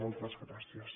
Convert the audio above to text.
moltes gràcies